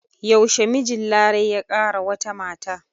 Yaushe mijin Larai ya ƙara wata mata?